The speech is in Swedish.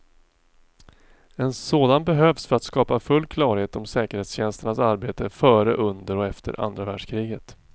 En sådan behövs för att skapa full klarhet om säkerhetstjänsternas arbete före, under och efter andra världskriget.